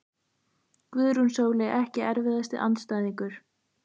Guðrún Sóley Ekki erfiðasti andstæðingur?